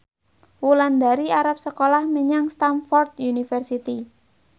Wulandari arep sekolah menyang Stamford University